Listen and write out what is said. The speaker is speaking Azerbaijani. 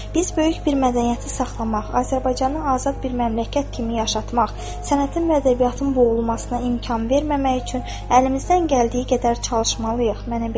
Biz böyük bir mədəniyyəti saxlamaq, Azərbaycanı azad bir məmləkət kimi yaşatmaq, sənətin və ədəbiyyatın boğulmasına imkan verməmək üçün əlimizdən gəldiyi qədər çalışmalıyıq.